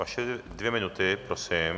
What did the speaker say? Vaše dvě minuty prosím.